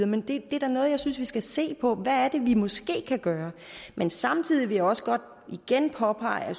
men det er da noget jeg synes vi skal se på hvad er det vi måske kan gøre men samtidig vil jeg også godt igen påpege at